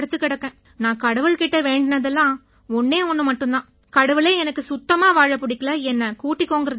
நான் கடவுள் கிட்ட வேண்டினதெல்லாம் ஒண்ணே ஒண்ணு மட்டும் தான் கடவுளே எனக்கு சுத்தமா வாழ பிடிக்கலை என்னைக் கூட்டிக்கோங்கறது தான்